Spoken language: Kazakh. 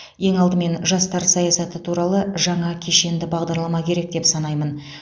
ең алдымен жастар саясаты туралы жаңа кешенді бағдарлама керек деп санаймын